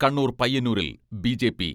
കണ്ണൂർ പയ്യന്നൂരിൽ ബി.ജെ.പി.